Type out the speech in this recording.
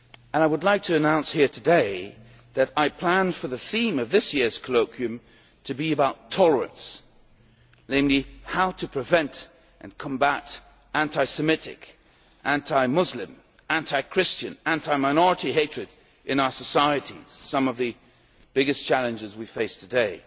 part. I would like to announce here today that I plan for the theme of this year's Colloquium to be about tolerance, namely how to prevent and combat anti Semitic, anti Muslim, anti Christian, and anti minority hatred in our societies, which are some of the biggest challenges we face today.